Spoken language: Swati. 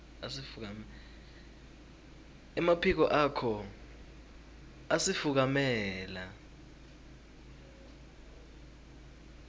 emaphiko akho asifukamela